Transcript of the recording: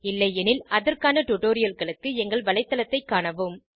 இல்லையெனில் அதற்கான டுடோரியல்களுக்கு எங்கள் வலைத்தளத்தைக் காணவும்